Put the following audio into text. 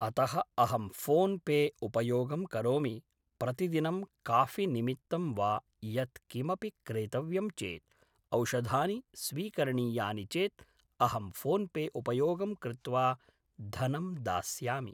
अतः अहं PhonePe उपयोगं करोमि प्रतिदिनं काफ़ि निमित्तं वा यत्किमपि क्रेतव्यं चेत् औषधानि स्वीकरणीयानि चेत् अहं फ़ोन् पे उपयोगं कृत्वा धनं दास्यामि